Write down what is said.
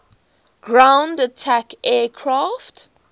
ground attack aircraft